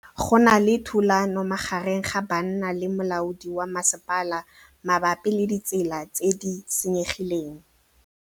Go na le thulanô magareng ga banna le molaodi wa masepala mabapi le ditsela tse di senyegileng.